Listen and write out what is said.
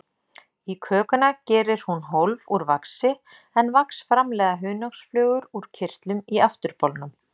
Í kökuna gerir hún hólf úr vaxi, en vax framleiða hunangsflugur úr kirtlum í afturbolnum.